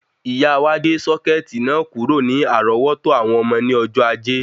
Ìyá wa gbé sọ́kẹ̀tì náà kúrò ní àrọ́wọ́tó àwọn ọmọ ní ọjọ́ Ajé